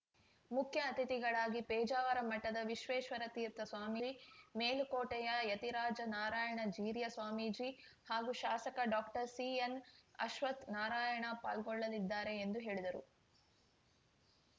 ಮುಖ್ಯ ಅತಿಥಿಗಳಾಗಿ ಪೇಜಾವರ ಮಠದ ವಿಶ್ವೇಶ್ವರತೀರ್ಥ ಸ್ವಾಮೀಜಿ ಮೇಲುಕೋಟೆಯ ಯತಿರಾಜ ನಾರಾಯಣ ಜೀರ್ಯ ಸ್ವಾಮೀಜಿ ಹಾಗೂ ಶಾಸಕ ಡಾಕ್ಟರ್ಸಿಎನ್‌ಅಶ್ವತ್ಥ ನಾರಾಯಣ ಪಾಲ್ಗೊಳ್ಳಲಿದ್ದಾರೆ ಎಂದು ಹೇಳಿದರು